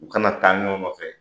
U ka na taa ɲɔgɔn fɛ